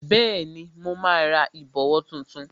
Bẹẹni, mo ra ìbòwó tuntun